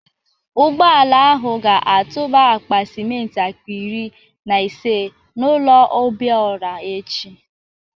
Ụgbọala ahụ ga-atụba akpa simenti akpa iri na ise n'ụlọ Obiora echi